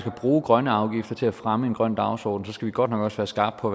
at bruge grønne afgifter til at fremme en grøn dagsorden skal vi godt nok også være skarpe på